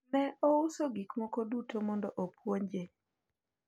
ne ouso gik moko duto mondo opuonje